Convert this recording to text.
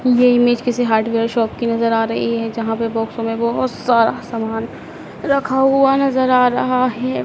ये इमेज किसी hardware shop की नजर आ रही है जहां पे बॉक्सो में बहुत सारा सामान रखा हुआ नजर आ रहा है।